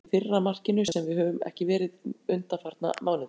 Við fengum smá heppni í fyrra markinu, sem við höfum ekki verið undanfarna mánuði.